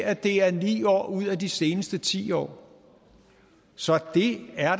at det er ni år ud af de seneste ti år så det er